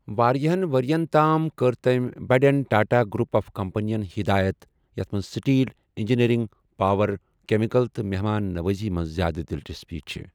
واریاہَن وریَن تام کٔر تٔمۍ بٔڑٮ۪ن ٹاٹا گروپ آف کمپنین ہدایت، یتھ منٛز سٹیل، انجینئرنگ، پاور، کیمیکل تہٕ مہمان نوازی منٛز زیادٕ دِلچَسپی چھِ ۔